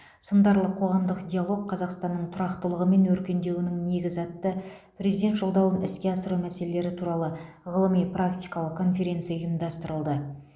сындарлы қоғамдық диалог қазақстанның тұрақтылығы мен өркендеуінің негізі атты президент жолдауын іске асыру мәселелері туралы ғылыми практикалық конференция ұйымдастырылды